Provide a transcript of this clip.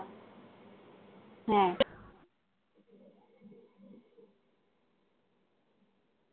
হ্যা।